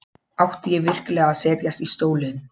Átti ég virkilega að setjast í stólinn?